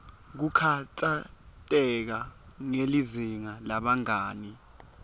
kukhatsateka ngelizinga lebangani